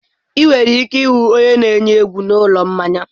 Ị nwere ike ịhụ onye na-eyi egwu na ụlọ mmanya.